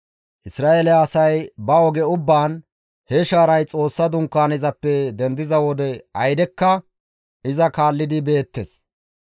Isra7eele asay ba oge ubbaan, he shaaray Xoossa Dunkaanezappe dendiza wode aydekka iza kaallidi beettes.